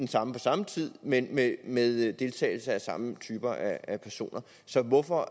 samme på samme tid men med deltagelse af samme typer af personer så hvorfor